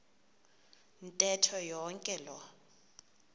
ntetho yonke loo